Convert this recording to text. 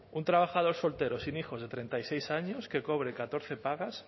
un trabajador soltero sin hijos de treinta y seis años que cobre catorce pagas